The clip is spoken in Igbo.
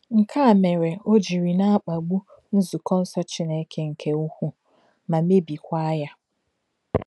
Nke a mere o jiri ‘ na-akpagbu nzukọ nsọ Chineke nke ukwuu, ma mebikwaa ya. ’